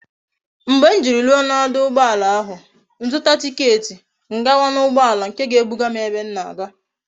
Mgbe m jiri ruo na oduugboala ahu m zuta ticket m gawa na ugboala nke ga e buga m ebe m na aga